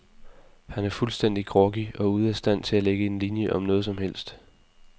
Han er fuldstændig groggy og ude af stand til at lægge en linie om noget som helst.